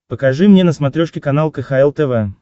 покажи мне на смотрешке канал кхл тв